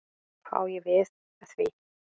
Hvað á ég við með því?